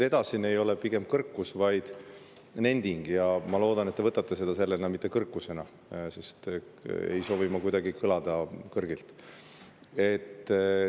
Edasine ei ole kõrkus, vaid pigem nending, ja ma loodan, et te võtate seda sellena, mitte kõrkusena, sest ma ei soovi kuidagi kõrgilt kõlada.